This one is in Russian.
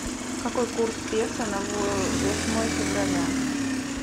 какой курс песо на восьмое февраля